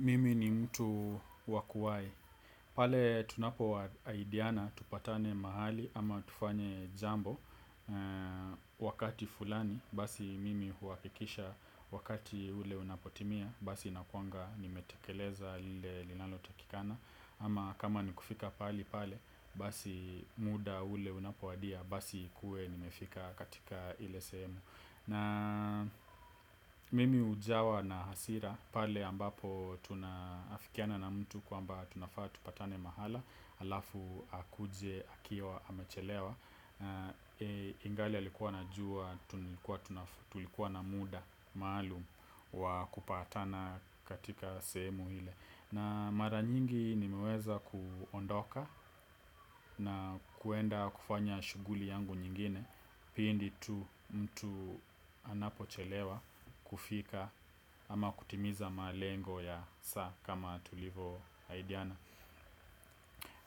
Mimi ni mtu wa kuwahi, pale tunapo ahidiana tupatane mahali ama tufanye jambo wakati fulani, basi mimi huakikisha wakati ule unapotimia, basi inakuanga nimetekeleza lile lilalo takikana. Ama kama ni kufika pahali pale, basi muda ule unapowadia, basi kue nimefika katika ile sehemu. Na mimi ujawa na hasira pale ambapo tuna afikiana na mtu kwamba tunafaa tupatane mahala. Alafu akuje akiwa amechelewa. Ingali alikuwa anajua tulikuwa na muda maalum, wa kupatana katika sehemu ile. Na mara nyingi nimeweza kuondoka na kuenda kufanya shughuli yangu nyingine. Pindi tu mtu anapo chelewa kufika ama kutimiza malengo ya saa kama tulivo ahidiana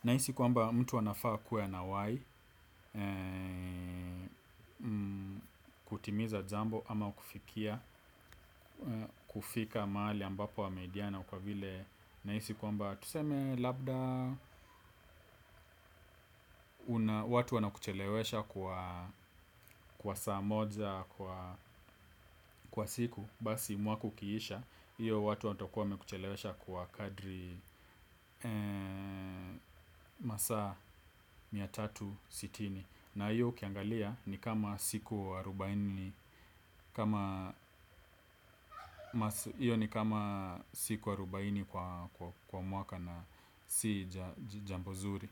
nahisi kwamba mtu anafaa kuwa anawahi kutimiza jambo ama kufikia kufika mahali ambapo ameahidiana kwa vile nabisi kwamba tuseme labda watu wana kuchelewesha kwa saa moja kwa siku. Basi mwaku kiisha, hiyo watu watu wana kuchelewesha kwa kadri masa mia moja na thelathini na sita. Na hiyo ukiangalia ni kama siku arubaine kwa mwaka na si jambo zuri.